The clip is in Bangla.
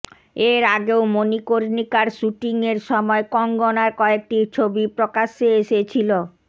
এর আগেও মণিকর্ণিকার শ্যুটিংয়ের সময় কঙ্গনার কয়েকটি ছবি প্রকাশ্যে এসেছিল